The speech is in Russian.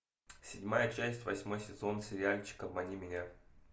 седьмая часть восьмой сезон сериальчика обмани меня